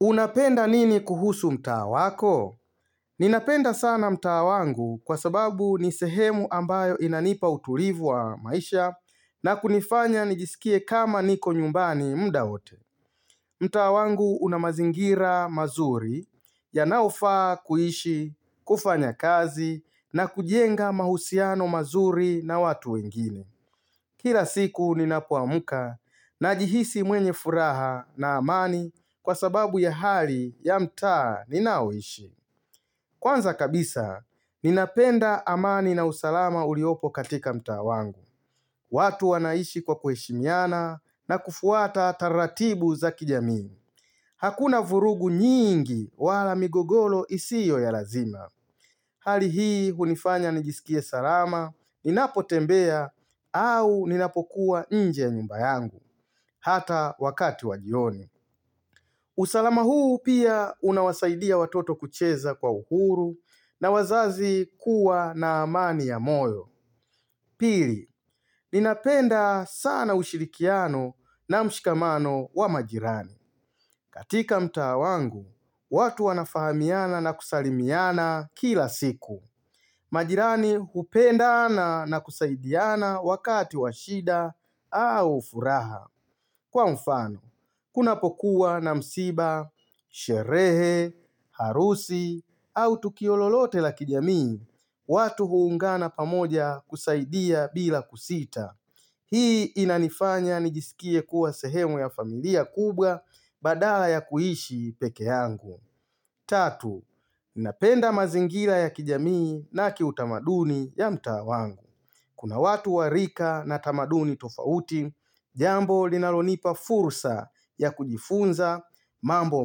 Unapenda nini kuhusu mtaa wako? Ninapenda sana mtaa wangu kwa sababu ni sehemu ambayo inanipa utulivu wa maisha na kunifanya nijisikie kama niko nyumbani mda wote. Mtaa wangu una mazingira mazuri yanaofaa kuishi, kufanya kazi na kujenga mahusiano mazuri na watu wengine. Kila siku ninapoamka najihisi mwenye furaha na amani kwa sababu ya hali ya mta ninaoishi. Kwanza kabisa, ninapenda amani na usalama uliopo katika mtaa wangu. Watu wanaishi kwa kuheshimiana na kufuata taratibu za kijamii. Hakuna vurugu nyingi wala migogoro isiyo ya lazima. Hali hii hunifanya nijisikie salama, ninapotembea au ninapokuwa nje ya nyumba yangu, hata wakati wa jioni. Usalama huu pia unawasaidia watoto kucheza kwa uhuru na wazazi kuwa na amani ya moyo. Pili, ninapenda sana ushirikiano na mshikamano wa majirani. Katika mtaa wangu, watu wanafahamiana na kusalimiana kila siku. Majirani hupendana na kusaidiana wakati wa shida au furaha. Kwa mfano, kunapokuwa na msiba, sherehe, harusi, au tukio lolote la kijamii, watu huungana pamoja kusaidia bila kusita. Hii inanifanya nijisikie kuwa sehemu ya familia kubwa badala ya kuishi pekee yangu. Tatu, napenda mazingira ya kijamii na kiutamaduni ya mtaa wangu. Kuna watu wa rika na tamaduni tofauti, jambo linalonipa fursa ya kujifunza mambo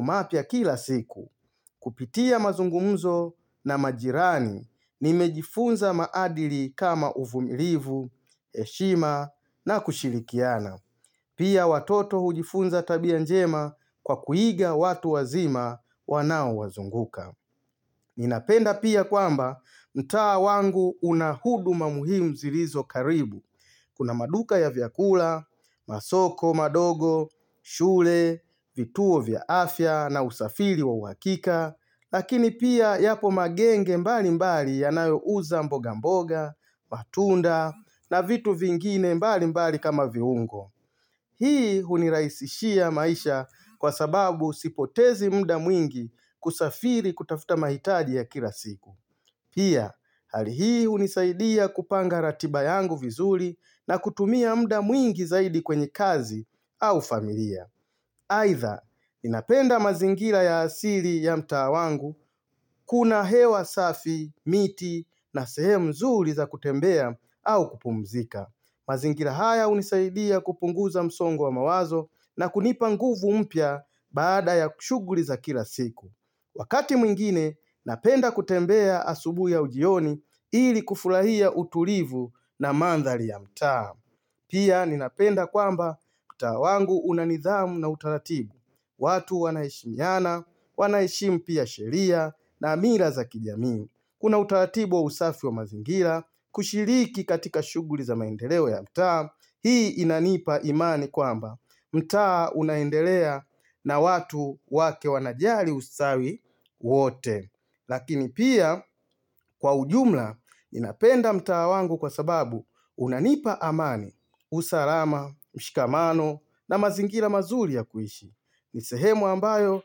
mapya kila siku. Kupitia mazungumzo na majirani nimejifunza maadili kama uvumilivu, heshima na kushirikiana. Pia watoto hujifunza tabia njema kwa kuiga watu wazima wanao wazunguka. Ninapenda pia kwamba mtaa wangu una huduma muhimu zilizo karibu. Kuna maduka ya vyakula, masoko, madogo, shule, vituo vya afya na usafiri wa uhakika, lakini pia yapo magenge mbali mbali yanayo uza mboga mboga, matunda na vitu vingine mbali mbali kama viungo. Hii unirahisishia maisha kwa sababu sipotezi muda mwingi kusafiri kutafuta mahitaji ya kila siku. Pia, hali hii hunisaidia kupanga ratiba yangu vizuri na kutumia muda mwingi zaidi kwenye kazi au familia. Aidha, ninapenda mazingira ya asili ya mtaa wangu, kuna hewa safi, miti na sehemu nzuri za kutembea au kupumzika. Mazingira haya hunisaidia kupunguza msongo wa mawazo na kunipa nguvu mpya baada ya shughuli za kila siku. Wakati mwingine, napenda kutembea asubuhi au jioni ili kufurahia utulivu na manthari ya mtaa. Pia, ninapenda kwamba mtaa wangu una nidhamu na utaratibu. Watu wanaheshimiana, wanaheshimu pia sheria na mila za kijami. Kuna utaratibu wa usafi wa mazingira kushiriki katika shughuli za maendeleo ya mtaa, hii inanipa imani kwamba mtaa unaendelea na watu wake wanajali ustawi wote. Lakini pia kwa ujumla ninapenda mtaa wangu kwa sababu unanipa amani, usalama, mshikamano na mazingira mazuri ya kuishi. Ni sehemu ambayo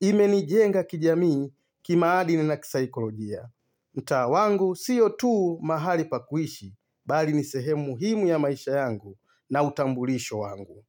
imenijenga kijamii kimaadini na kisaikolojia. Mtaa wangu sio tu mahali pa kuishi Bali ni sehemu muhimu ya maisha yangu na utambulisho wangu.